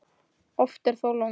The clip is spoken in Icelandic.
Oft er þó logn.